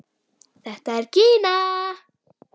Þetta er Gína!